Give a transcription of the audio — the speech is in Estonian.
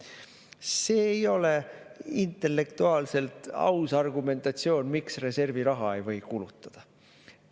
See ei ole intellektuaalselt aus argumentatsioon, miks reservi raha ei või kulutada.